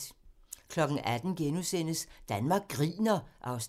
18:00: Danmark griner (Afs. 5)*